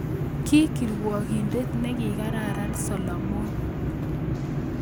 Ki kirwokindet nekararan Solomon